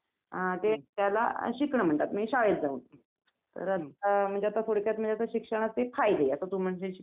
बाहेरून लोकं येतात लहान मुलांसाठी खेळणं वगैरे खेळाय येतात